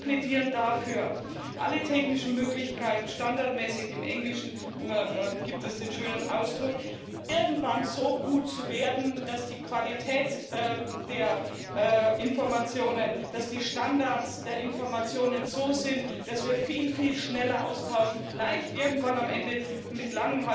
Wir plädieren dafür, mit allen technischen Möglichkeiten standardmäßig im Englischen gibt es den schönen Ausdruck irgendwann so gut zu werden, dass die Qualität der Informationen, dass die Standards der Informationen so sind, dass wir sie viel, viel schneller austauschen, vielleicht irgendwann am Ende mit